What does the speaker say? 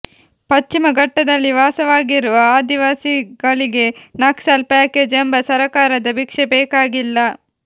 ಪಶ್ಚಿಮ ಘಟ್ಟದಲ್ಲಿ ವಾಸವಾಗಿರುವ ಆದಿವಾಸಿಗಳಿಗೆ ನಕ್ಸಲ್ ಪ್ಯಾಕೇಜ್ ಎಂಬ ಸರಕಾರದ ಭಿಕ್ಷೆ ಬೇಕಾಗಿಲ್ಲ